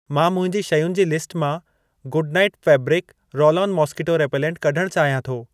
मां मुंहिंजी शयुनि जी लिस्ट मां good night fabric roll -on mosquito repellent कढण चाहियां थो।